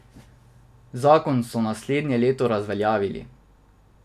Zakon so naslednje leto razveljavili.